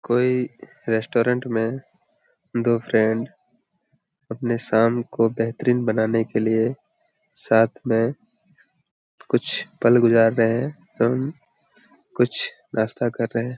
कोई रेस्टोरेंट में दो फ्रेंड अपने शाम को बेहतरीन बनाने के लिए साथ में कुछ पल गुजार रहे हैं एवं कुछ नाश्ता कर रहे हैं।